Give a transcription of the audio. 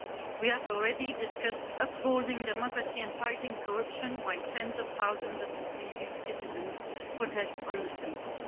We have already discussed upholding democracy and fighting corruption while tens of thousands of EU citizens protest on the streets.